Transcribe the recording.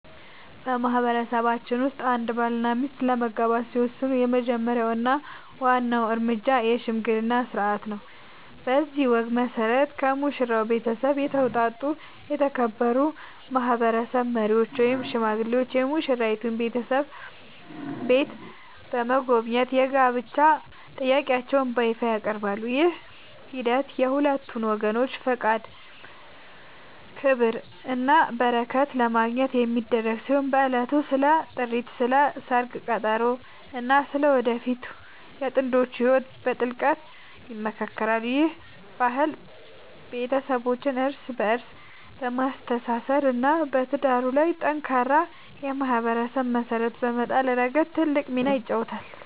በማህበረሰባችን ውስጥ አንድ ባልና ሚስት ለመጋባት ሲወስኑ የመጀመሪያው እና ዋናው እርምጃ **የሽምግልና ሥርዓት** ነው። በዚህ ወግ መሠረት፣ ከሙሽራው ቤተሰብ የተውጣጡ የተከበሩ ማህበረሰብ መሪዎች ወይም ሽማግሌዎች የሙሽራይቱን ቤተሰብ ቤት በመጎብኘት የጋብቻ ጥያቄያቸውን በይፋ ያቀርባሉ። ይህ ሂደት የሁለቱን ወገኖች ፈቃድ፣ ክብርና በረከት ለማግኘት የሚደረግ ሲሆን፣ በዕለቱም ስለ ጥሪት፣ ስለ ሰርግ ቀጠሮ እና ስለ ወደፊቱ የጥንዶቹ ህይወት በጥልቀት ይመካከራሉ። ይህ ባህል ቤተሰቦችን እርስ በእርስ በማስተሳሰር እና በትዳሩ ላይ ጠንካራ የማህበረሰብ መሰረት በመጣል ረገድ ትልቅ ሚና ይጫወታል።